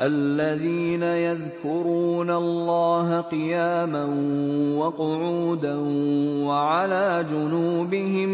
الَّذِينَ يَذْكُرُونَ اللَّهَ قِيَامًا وَقُعُودًا وَعَلَىٰ جُنُوبِهِمْ